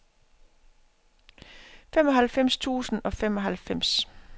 femoghalvfems tusind og femoghalvfems